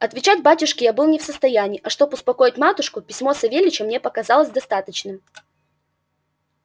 отвечать батюшке я был не в состоянии а чтоб успокоить матушку письмо савельича мне показалось достаточным